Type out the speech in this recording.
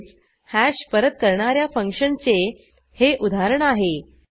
तसेच हॅश परत करणा या फंक्शनचे हे उदाहरण आहे